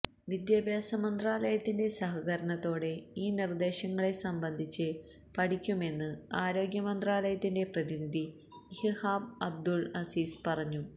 വിദ്യാഭ്യാസ മന്ത്രാലയത്തിന്റെ സഹകരണത്തോടെ ഈ നിര്ദേശങ്ങളെ സംബന്ധിച്ച് പഠിക്കുമെന്ന് ആരോഗ്യ മന്ത്രാലയത്തിന്റെ പ്രതിനിധി ഈഹാബ് അബ്ദുല് അസീസ് പറഞ്ഞു